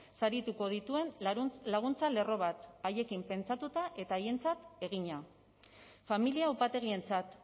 sarituko dituen laguntza lerro bat haiekin pentsatuta eta haientzat egina familia upategientzat